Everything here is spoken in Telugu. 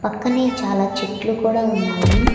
పక్కనే చాలా చెట్లు కూడా ఉన్నాయి.